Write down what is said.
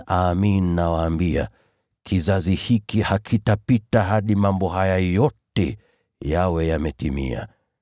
Amin, nawaambia, kizazi hiki hakitapita hadi mambo haya yote yawe yametimia.